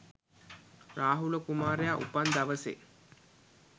රාහුල කුමාරයා උපන් දවසේ